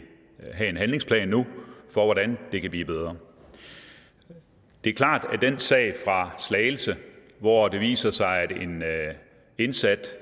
have en handlingsplan nu for hvordan det kan blive bedre det er klart at den sag fra slagelse hvor det viser sig at en indsat